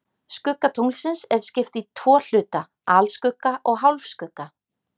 Skugga tunglsins er skipt í tvo hluta, alskugga og hálfskugga.